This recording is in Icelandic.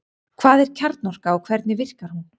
Hvað er kjarnorka og hvernig virkar hún?